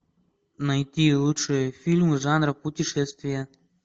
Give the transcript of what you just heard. найти лучшие фильмы жанра путешествия